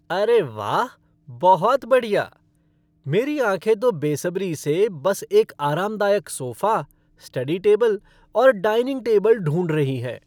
अरे वाह, बहुत बढ़िया! मेरी आंखें तो बेसब्री से बस एक आरामदायक सोफ़ा, स्टडी टेबल और डाइनिंग टेबल ढूंढ रही हैं।